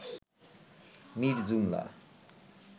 Mir Jumla